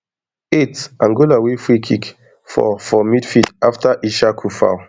eightangola win freekick for for midfield afta issahaku foul